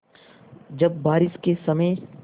जब बारिश के समय